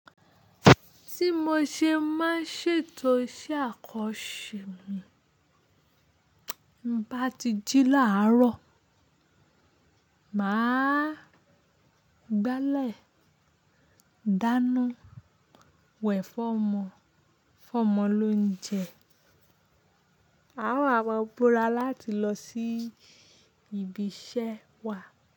Tí mo ṣe má ń ṣètò iṣẹ́ àkọ se mi bá ti jí láàárọ̀, màá gbálẹ̀, dáná wẹ̀ fún ọmọ, fún ọmọ lóúnjẹ, àwa maa gbọ́ra láti lọ sí ibi iṣẹ́ wa.